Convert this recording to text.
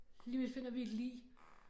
Lige om lidt finder vi et lig